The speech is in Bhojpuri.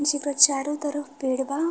जेकरा चारो तरफ पेड़ बा।